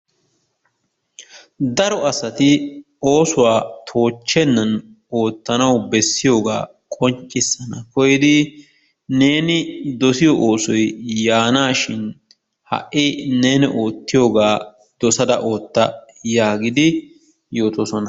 Daro asati oosuwa toochchennan oottanawu bessiyogaa qonccissanawu koyidi neeni dosiyo oosoy yaanaashin ha"i neeni oottiyogaa dosada ootta yaagidi yootoosona.